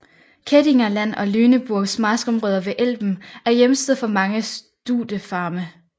Kehdinger Land og Lüneburgs marskområer ved Elben er hjemsted for mange studefarme